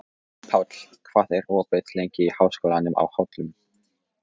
Páll, hvað er opið lengi í Háskólanum á Hólum?